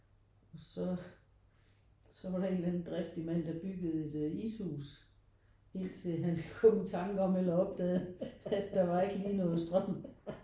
Og så så var der en eller anden driftig mand der byggede et ishus ind til han kom i tanke om eller opdagede at der var ikke lige noget strøm